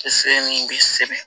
Se min bɛ sɛgɛn